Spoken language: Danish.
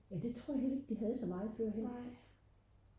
ja det tror jeg heller ikke de havde så meget førhen